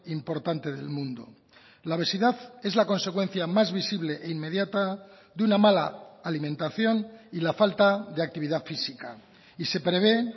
importante del mundo la obesidad es la consecuencia más visible e inmediata de una mala alimentación y la falta de actividad física y se prevé